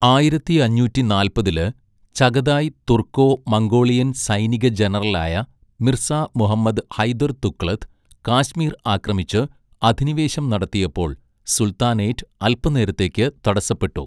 ആയിരത്തി അഞ്ഞൂറ്റിനാല്പതില്, Chagatai Turco Mongolian സൈനിക ജനറലായ മിർസ മുഹമ്മദ് ഹൈദർ ദുഗ്ലത്ത്, കാശ്മീർ ആക്രമിച്ച് അധിനിവേശം നടത്തിയപ്പോൾ, സുൽത്താനേറ്റ് അൽപ്പനേരത്തേക്ക് തടസ്സപ്പെട്ടു.